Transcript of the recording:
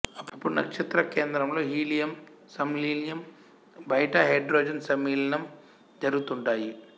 అప్పుడు నక్షత్ర కేంద్రంలో హీలియం సంలీనం బయట హైడ్రోజన్ సంలీనం జరుగుతుంటాయి